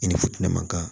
I ni futinɛ ma kan